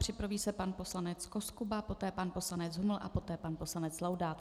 Připraví se pan poslanec Koskuba, poté pan poslanec Huml a poté pan poslanec Laudát.